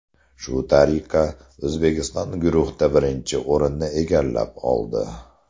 Shu tariqa, O‘zbekiston guruhda birinchi o‘rinni egallab oldi.